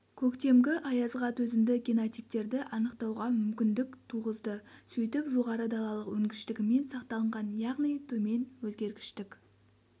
көктемгі аязға төзімді генотиптерді анықтауға мүмкіндік туғызды сөйтіп жоғары далалық өнгіштігімен сақталынған яғни төмен өзгергіштік